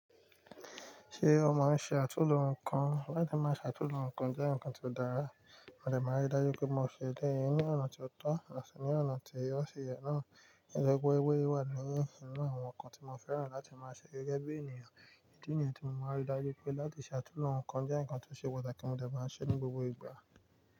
Ṣé o máa ń ṣe àtúnlo nǹkan? Láti máa ṣe àtúnlo nǹkan jẹ́ nǹkan tó dára, mo dẹ̀ máa rí dájú pé mo ṣe dé ẹ ní ọ̀nà tó tọ́ àti ní ọ̀nà tí ó ṣe yẹ náà, nítorí pé ewé wà nínú àwọn nǹkan tí mo fẹ́ràn láti máa ṣe gẹ́gẹ́ bí ènìyàn, èyí tí ènìyàn tí mo máa rí i dájú pé láti ṣe àtúndùn nǹkan jẹ́ nǹkan tó ṣe pàtàkì mo dẹ̀ bá ṣe ní gbogbo ìgbà.